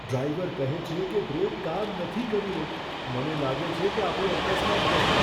Driver કહે છે કે બ્રેક કામ નથી કરી રહી. મને લાગે છે કે આપણો અકસ્માત થશે.